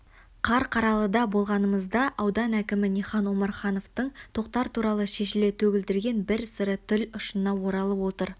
қарқаралыда болғанымызда аудан әкімі нихан омархановтың тоқтар туралы шешіле төгілдірген бір сыры тіл ұшына оралып отыр